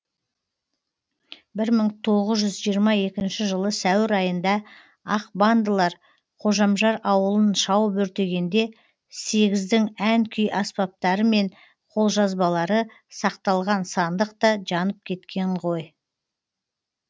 бір мың тоғыз жүз жиырма екінші сәуір айында ақ бандылар қожамжар ауылын шауып өртегенде сегіздің ән күй аспаптары мен қолжазбалары сақталған сандық та жанып кеткен ғой